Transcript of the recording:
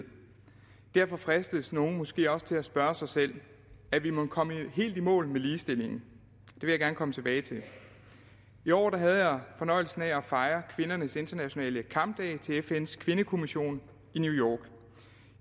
derfor fristes nogle måske også til at spørge sig selv er vi mon kommet helt i mål med ligestillingen det vil jeg gerne komme tilbage til i år havde jeg fornøjelsen af at fejre kvindernes internationale kampdag til fns kvindekommission i new